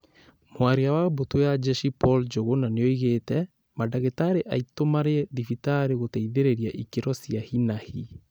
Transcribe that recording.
Mwaria wa mbũtũ ya njeshi Paul Njuguna nĩoigĩte "Mandagĩtarĩ aitũ marĩ thibitarĩ gũteithĩrĩria ikĩro cia hi-na-hi"